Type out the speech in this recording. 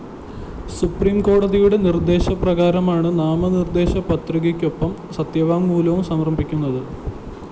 സുപ്രീംകോടതിയുടെ നിര്‍ദ്ദേശ പ്രകാരമാണ്‌ നാമനിര്‍ദ്ദേശ പത്രികയ്ക്കൊപ്പം സത്യവാങ്മൂലം സമര്‍പ്പിക്കുന്നത്‌